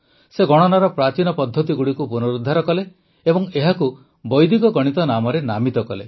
ସେ ଗଣନାର ପ୍ରାଚୀନ ପଦ୍ଧତିଗୁଡ଼ିକୁ ପୁନରୁଦ୍ଧାର କଲେ ଓ ଏହାକୁ ବୈଦିକ ଗଣିତ ନାମରେ ନାମିତ କଲେ